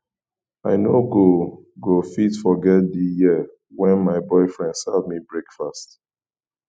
i no go go fit forget di year wen my boyfriend serve me breakfast